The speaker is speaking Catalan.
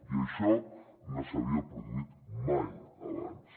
i això no s’havia produït mai abans